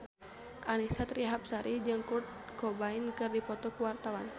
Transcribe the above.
Annisa Trihapsari jeung Kurt Cobain keur dipoto ku wartawan